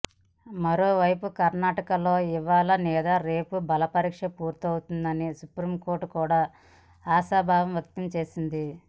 మరోవైపు కర్ణాటకలో ఇవాళ లేదా రేపు బలపరీక్ష పూర్తవుతుందని సుప్రీంకోర్టు కూడా ఆశాభావం వ్యక్తం చేసింది